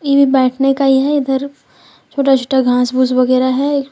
एभी बैठने का ही है इधर छोटा छोटा घास घुस वगैरा है।